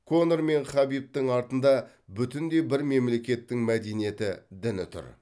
конор мен хабибтің артында бүтіндей бір мемлекеттің мәдениеті діні тұр